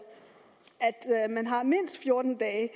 at man har mindst fjorten dage